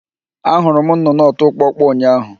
Ahụrụ m nnụnụ ọtụ kpọkpọ ụnyahụ